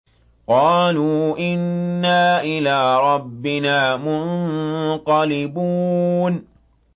قَالُوا إِنَّا إِلَىٰ رَبِّنَا مُنقَلِبُونَ